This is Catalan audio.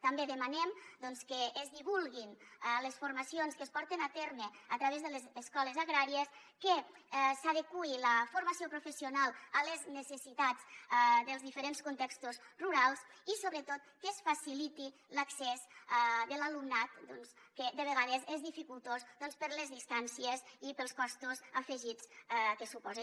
també demanem doncs que és divulguin les formacions que es porten a terme a través de les escoles agràries que s’adeqüi la formació professional a les necessitats dels diferents contextos rurals i sobretot que es faciliti l’accés de l’alumnat que de vegades és dificultós doncs per les distàncies i pels costos afegits que suposa